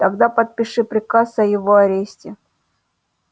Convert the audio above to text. тогда подпиши приказ о его аресте